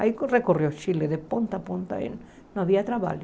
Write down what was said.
Aí recorreu ao Chile de ponta a ponta e não havia trabalho.